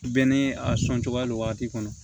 Bɛɛ ni a sɔn cogoya nin wagati kɔnɔ